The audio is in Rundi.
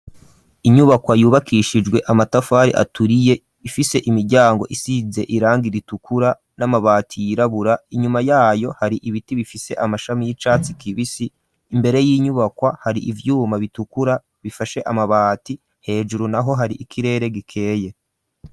Inyubakwa yubakishijwe amatafari aturiye ifise imiryango isize irangi ritukura n'amabati y'irabura inyuma yayo hari ibiti bifise amashami y'icatsi kibisi imbere y'inyubakwa hari ivyuma bitukura bifashe amabati hejuru naho hari ikirere gikeye.